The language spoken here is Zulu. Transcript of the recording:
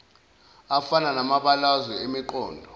afana namabalazwe emiqondo